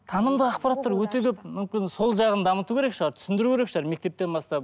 танымды ақпараттар өте көп мүмкін сол жағын дамыту керек шығар түсіндіру керек шығар мектептен бастап